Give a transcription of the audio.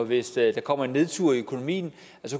hvis der kommer en nedtur i økonomien